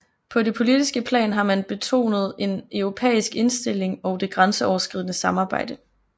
På det politiske plan har man betonet en europæisk indstilling og det grænseoverskridende samarbejde